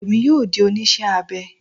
Èmi yóò di oníṣẹ́ abẹ